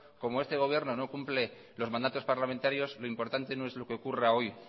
como este gobierno no cumple los mandatos parlamentario lo importante no es lo que ocurra hoy